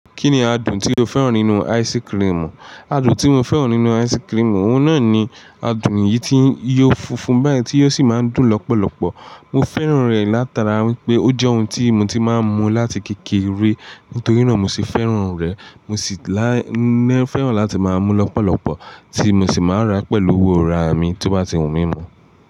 Kí ni adùn tí o fẹ́ràn nínú ice cream? Adùn tí mo fẹ́ràn nínú ice cream, òun náà ni adùn eyìí tí n yo funfun báyìí tí yóò sì máa ń dùn lọ́pọ̀lọpọ̀. Mo fẹ́ràn rẹ̀ látara wípé ó jẹ́ ohun tí mo ti máa ń mu láti kékeré nítorí náà mo sì fẹ́ràn rẹ̀. Mo sì láí nẹ́ fẹ́ràn láti máa mu lọ́pọ̀lọpọ̀ tí mo sì máa ń rà pẹ̀lú owó ara mi tí ó bá ti wùn mí mú.